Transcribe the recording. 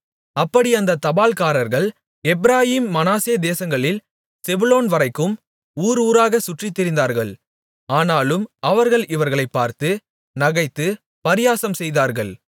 அப்படி அந்த தபால்காரர்கள் எப்பிராயீம் மனாசே தேசங்களில் செபுலோன்வரைக்கும் ஊர் ஊராகச் சுற்றித் திரிந்தார்கள் ஆனாலும் அவர்கள் இவர்களைப்பார்த்து நகைத்துப் பரியாசம் செய்தார்கள்